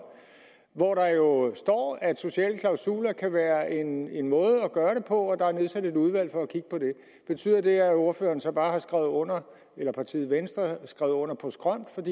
hvor der jo står at sociale klausuler kan være en en måde at gøre det på og der er nedsat et udvalg for at kigge på det betyder det at ordføreren så bare har skrevet under eller at partiet venstre bare har skrevet under på skrømt